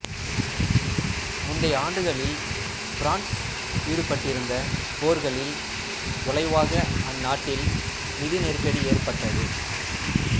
முந்தைய ஆண்டுகளில் பிரான்சு ஈடுபட்டிருந்த போர்களின் விளைவாக அந்நாட்டில் நிதி நெருக்கடி ஏற்பட்டது